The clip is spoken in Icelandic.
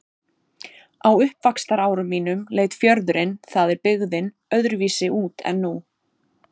Á uppvaxtarárum mínum leit fjörðurinn- það er byggðin- öðruvísi út en nú.